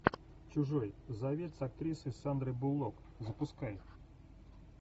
чужой завет с актрисой сандрой буллок запускай